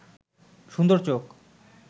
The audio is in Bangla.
সুন্দর চোখ